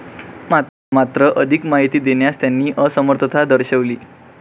मात्र अधिक माहिती देण्यास त्यांनी असमर्थता दर्शवली.